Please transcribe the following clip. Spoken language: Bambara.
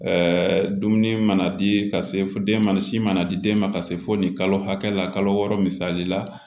dumuni mana di ka se fo den ma sin mana di den ma ka se fo nin kalo hakɛ la kalo wɔɔrɔ misali la